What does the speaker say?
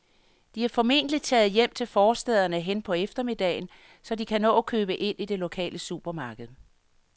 De er formentlig taget hjem til forstæderne hen på eftermiddagen, så de kan nå at købe ind i det lokale supermarked.